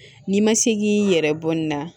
N'i ma se k'i yɛrɛ bɔ ni na